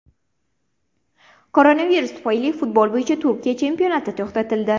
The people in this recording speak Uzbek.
Koronavirus tufayli futbol bo‘yicha Turkiya chempionati to‘xtatildi.